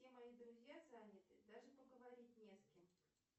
все мои друзья заняты даже поговорить не с кем